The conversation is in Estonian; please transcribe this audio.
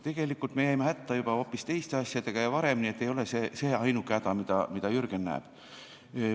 Tegelikult me jäime hätta juba hoopis teiste asjadega ja varem, nii et ei ole see ainuke häda, mida Jürgen näeb.